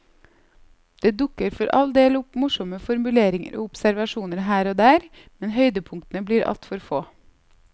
Det dukker for all del opp morsomme formuleringer og observasjoner her og der, men høydepunktene blir altfor få.